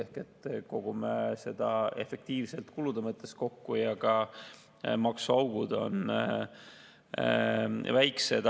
Me kogume kulude mõttes makse efektiivselt kokku ja maksuaugud on väiksed.